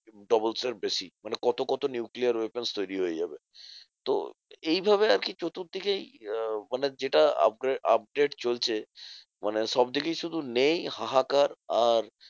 Doubles এর বেশি। মানে কত কত nuclear weapons তৈরী হয়ে যাবে। তো এইভাবে আরকি চতুর্দিকেই আহ মানে যেটা upgra~ upgrade চলছে মানে সবদিকেই শুধু নেই হাহাকার আর